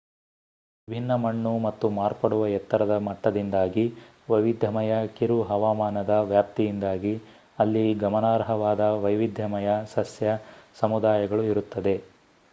ವಿಭಿನ್ನ ಮಣ್ಣು ಮತ್ತು ಮಾರ್ಪಡುವ ಎತ್ತರದ ಮಟ್ಟದಿಂದಾಗಿ ವೈವಿಧ್ಯಮಯ ಕಿರು ಹವಾಮಾನದ ವ್ಯಾಪ್ತಿಯಿಂದಾಗಿ ಅಲ್ಲಿ ಗಮನಾರ್ಹವಾದ ವೈವಿಧ್ಯಮಯ ಸಸ್ಯ ಸಮುದಾಯಗಳು ಇರುತ್ತದೆ